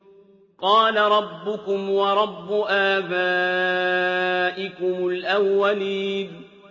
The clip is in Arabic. قَالَ رَبُّكُمْ وَرَبُّ آبَائِكُمُ الْأَوَّلِينَ